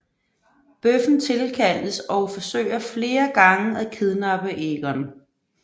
Bøffen tilkaldes og forsøger flere gange at kidnappe Egon